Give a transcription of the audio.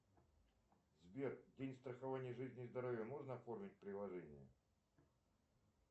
сбер день страхования жизни и здоровья можно оформить в приложении